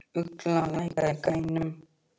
Ugla, lækkaðu í græjunum.